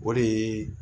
O de ye